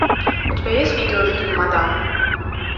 у тебя есть видеофильм мадам